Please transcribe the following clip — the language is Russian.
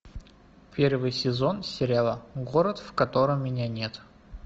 первый сезон сериала город в котором меня нет